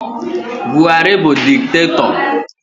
Buhari bụ diktatọ